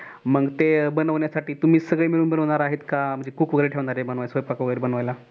मग ते बनवण्यासाठी तुम्ही सगळे मिळून बनवणार आहेत कि cook वगैरे ठेवणार आहे बनवायला स्वयंपाक वागिरे बनवायला?